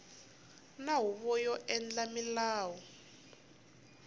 na huvo yo endla milawu